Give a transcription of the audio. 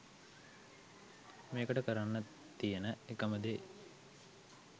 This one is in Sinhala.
මේකට කරන්න තියෙන එකම දේ